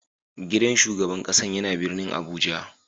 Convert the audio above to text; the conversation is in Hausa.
Gidan shugaban kasan ya na birnin Abuja.